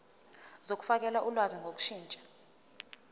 zokufakela ulwazi ngokushintsha